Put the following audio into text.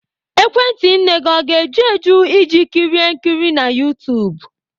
Ekwentị nne ga-eju eju iji kirie nkiri na YouTube?